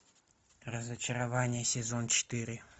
разочарование сезон четыре